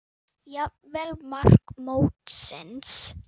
Jafnvel mark mótsins?